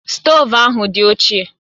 Stoovu ahụ dị ochie